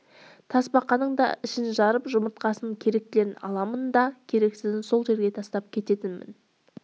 тасбақаның да ішін жарып жұмыртқасын керектілерін аламын да керексізін сол жерге тастап кетемін